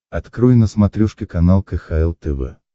открой на смотрешке канал кхл тв